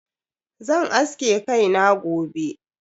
Zan aske kai na gobe.